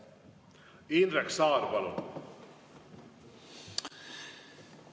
Indrek Saar, palun!